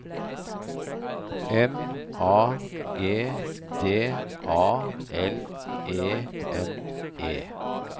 M A G D A L E N E